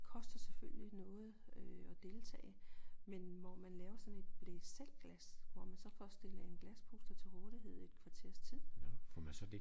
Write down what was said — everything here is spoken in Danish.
Koster selvfølgelig noget at deltage men hvor man laver sådan et blæsselvglas hvor man så får stillet en glaspuster til rådighed i et kvarters tid